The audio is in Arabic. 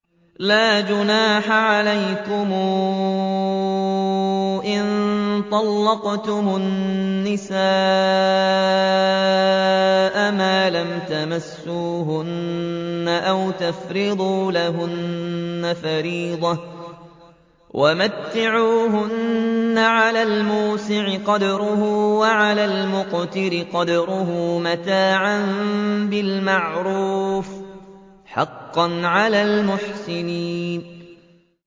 لَّا جُنَاحَ عَلَيْكُمْ إِن طَلَّقْتُمُ النِّسَاءَ مَا لَمْ تَمَسُّوهُنَّ أَوْ تَفْرِضُوا لَهُنَّ فَرِيضَةً ۚ وَمَتِّعُوهُنَّ عَلَى الْمُوسِعِ قَدَرُهُ وَعَلَى الْمُقْتِرِ قَدَرُهُ مَتَاعًا بِالْمَعْرُوفِ ۖ حَقًّا عَلَى الْمُحْسِنِينَ